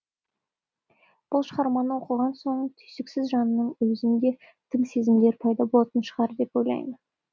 бұл шығарманы оқыған соң түйсіксіз жанның өзіне тың сезімдер пайда болатын шығар деп ойлаймын